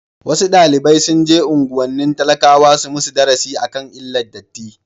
wasu dalibi sunje unguwannin talakawa su musu darasi akan illar datti